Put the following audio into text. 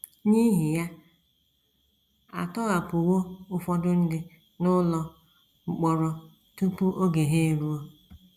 N’ihi ya, a tọhapụwo ụfọdụ ndị n’ụlọ mkpọrọ tupu oge ha eruo.